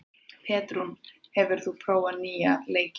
Petrún, hefur þú prófað nýja leikinn?